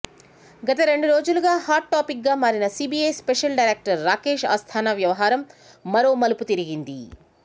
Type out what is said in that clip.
గత రెండు రోజులుగా హాట్ టాపిక్గా మారిన CBI special director Rakesh Asthana వ్యవహారం మరో మలుపు తిరిగింది